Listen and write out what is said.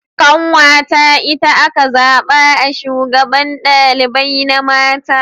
Ƙanwata itace aka zaɓa a shugaban ɗalibai na mace.